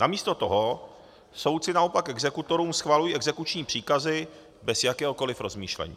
Namísto toho soudci naopak exekutorům schvalují exekuční příkazy bez jakéhokoliv rozmýšlení.